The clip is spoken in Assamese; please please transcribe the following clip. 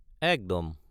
একদম!